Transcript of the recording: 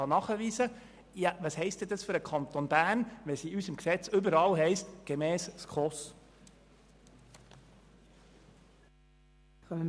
Was bedeutet es für den Kanton Bern, wenn es in unserem Gesetz überall heisst «gemäss SKOS»?